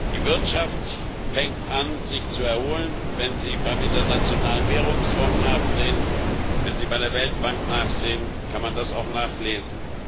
Die Wirtschaft fängt an, sich zu erholen, wenn Sie beim Internationalen Währungsfonds nachsehen, wenn Sie bei der Weltbank nachsehen, kann man das auch nachlesen.